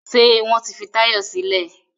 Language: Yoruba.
Ṣé wọ́n ti fi Táyọ̀ sílẹ̀?